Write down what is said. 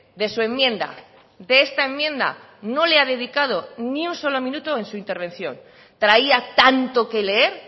de su enmienda de esta enmienda no le ha dedicado ni un solo minuto en su intervención traía tanto que leer